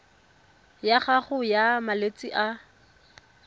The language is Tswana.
ya gago ya malwetse a